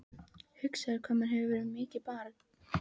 Hugsaðu þér hvað maður hefur verið mikið barn.